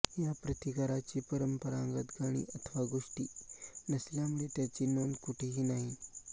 या प्रतिकाराची परंपरागत गाणी अथवा गोष्टी नसल्यामुळे त्याची नोंदकुठे ही नाही